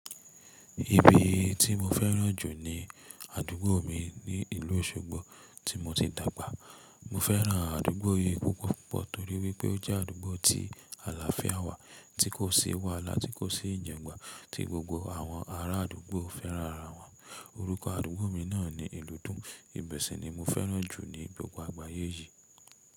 Ibi tí mo fẹ́ràn jù ni àdúgbò mi ní ìlú Òṣogbo tí mo ti dàgbà. Mo fẹ́ràn àdúgbò yìí púpọ̀ torí wípé ó jẹ́ àdúgbò tí àlàáfíà wà, tí kò sí wàhálà tí kò sí ìjàǹgbà, tí gbogbo àwọn ará àdúgbò fẹ́ràn ara wọn. Orúkọ àdúgbò mi náà ni ilúdún. Ò ń sì ni mo fẹ́ràn jù ní gbogbo àgbáyé yì.